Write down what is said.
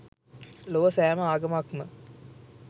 ලොව සෑම ආගමක්ම